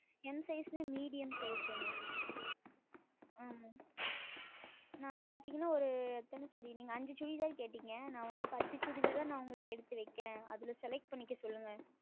M Size என்றால் Medium Size ஆமாம் நான் பார்த்தீர்கள் என்றால் ஓர் எத்தனை Chudi நீங்கள் ஐந்து Chudi தானே கேட்டீர்கள் நான் வந்து பத்து Chudithar ஆ எடுத்து வைக்கிறேன் அதில் Select செய்ய சொல்லுங்கள்